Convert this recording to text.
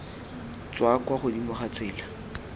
tswa kwa godimo ga tsela